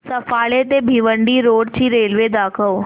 सफाळे ते भिवंडी रोड ची रेल्वे दाखव